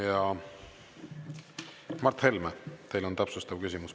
Ja, Mart Helme, teil on täpsustav küsimus.